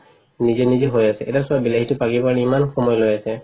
নিজে নিজে হয় আছে এতিয়া চোৱা বিলাহিটো পকিব কাৰণে ইমান সময় লই আছে